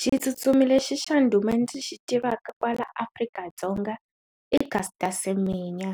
Xi tsutsumi lexi xa ndhuma ndzi xi tivaka kwala Afrika-Dzonga i Caster Semenya